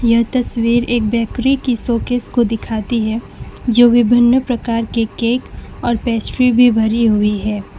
यह तस्वीर एक बेकरी की शोकेस को दिखाती है जो विभिन्न प्रकार के केक और पेस्ट्री भी भरी हुई है।